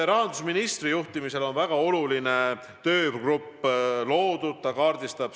Rahandusministri juhtimisel on väga oluline töögrupp loodud.